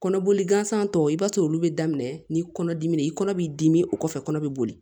Kɔnɔboli gansan tɔ i b'a sɔrɔ olu bɛ daminɛ ni kɔnɔdimi de ye i kɔnɔ b'i dimi o kɔfɛ kɔnɔ bɛ boli